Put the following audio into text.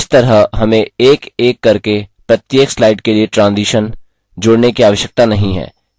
इस तरह हमें एकएक करके प्रत्येक slide के लिए ट्राजिशन जोड़ने की आवश्यकता नहीं है